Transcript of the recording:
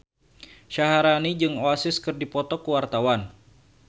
Syaharani jeung Oasis keur dipoto ku wartawan